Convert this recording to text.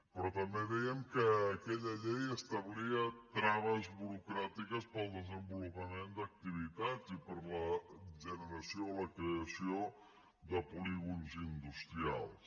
però també dèiem que aquella llei establia traves burocràtiques per al desenvolupament d’activitats i per a la generació o la creació de polígons industrials